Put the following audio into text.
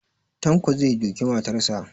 Tanko zai duki matarsa